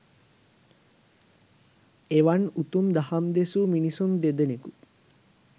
එවන් උතුම් දහම් දෙසූ මිනිසුන් දෙදෙනෙකු